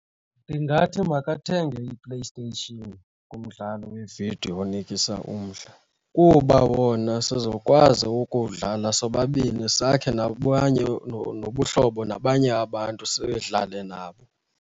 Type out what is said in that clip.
Ndingathi makathenge iPlayStation. Ngumdlalo weevidiyo onikisa umdla kuba wona sizokwazi ukuwudlala sobabini sakhe nabanye nobuhlobo, nabanye abantu sidlale nabo.